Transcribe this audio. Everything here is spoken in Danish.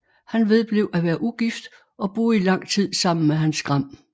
Han vedblev at være ugift og boede i lang tid sammen med Hans Gram